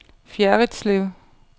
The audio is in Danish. Fjerritslev